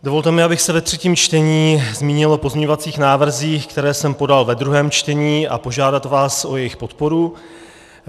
Dovolte mi, abych se ve třetím čtení zmínil o pozměňovacích návrzích, které jsem podal ve druhém čtení, a požádal vás o jejich podporu.